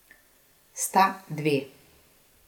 Sta dve.